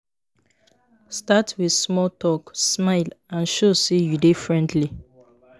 Start with small talk, smile, and show say you dey friendly.